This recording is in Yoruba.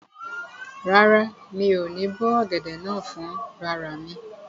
Rárá, mi ò ní bó ọ̀gẹ̀dẹ̀ náà fún rara mi